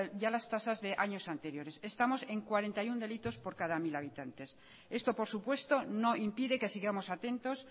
y a las tasas de años anteriores estamos en cuarenta y uno delitos por cada mil habitantes esto por supuesto no impide que sigamos atentos